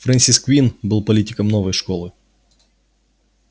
фрэнсис куинн был политиком новой школы